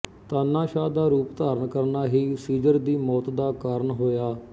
ਤਾਨਾਸ਼ਾਹ ਦਾ ਰੂਪ ਧਾਰਨ ਕਰਣਾ ਹੀ ਸੀਜ਼ਰ ਦੀ ਮੌਤ ਦਾ ਕਾਰਨ ਹੋਇਆ